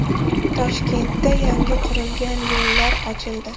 Toshkentda yangi qurilgan yo‘llar ochildi.